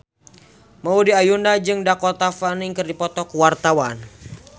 Maudy Ayunda jeung Dakota Fanning keur dipoto ku wartawan